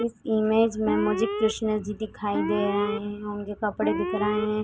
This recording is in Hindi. इस इमेज में मुझे कृष्ण जी दिखाई दे रहे हैं | उनके कपड़े दिख रहे हैं|